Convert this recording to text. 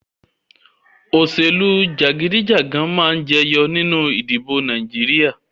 Òṣèlú jagidijagan máa jẹyọ nínú ìdìbò Nàìjíríà